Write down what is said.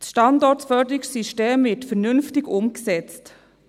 Das Standortförderungssystem wird vernünftig umgesetzt.